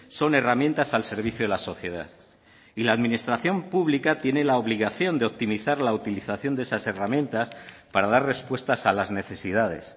son herramientas al servicio de la sociedad y la administración pública tiene la obligación de optimizar la utilización de esas herramientas para dar respuestas a las necesidades